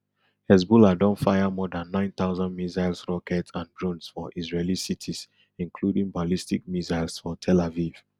hezbollah don fire more dan nine thousand missiles rockets and drones for israeli cities including ballistic missiles for tel aviv